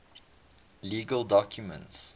legal documents